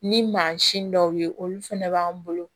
Ni mansin dɔw ye olu fɛnɛ b'an bolo